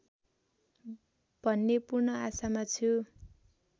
भन्ने पूर्ण आशामा छु